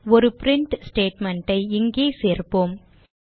ஒரு print statement இங்கே சேர்ப்போம்